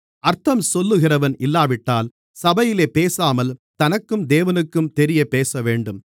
அர்த்தம் சொல்லுகிறவன் இல்லாவிட்டால் சபையிலே பேசாமல் தனக்கும் தேவனுக்கும் தெரியப்பேசவேண்டும்